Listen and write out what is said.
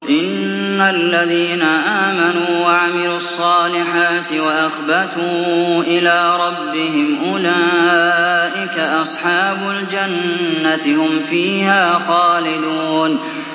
إِنَّ الَّذِينَ آمَنُوا وَعَمِلُوا الصَّالِحَاتِ وَأَخْبَتُوا إِلَىٰ رَبِّهِمْ أُولَٰئِكَ أَصْحَابُ الْجَنَّةِ ۖ هُمْ فِيهَا خَالِدُونَ